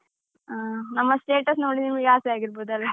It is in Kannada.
ಹಾ, ನಮ್ಮ status ನೋಡಿ ನಿಮ್ಗೆ ಆಸೆ ಆಗಿರ್ಬೋದಲ್ಲ .